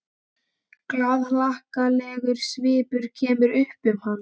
Glaðhlakkalegur svipurinn kemur upp um hana.